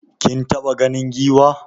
Kin taɓa ganin Giwa?